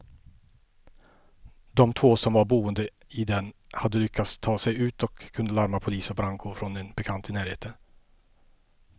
De två som var boende i den hade lyckats ta sig ut och kunde larma polis och brandkår från en bekant i närheten.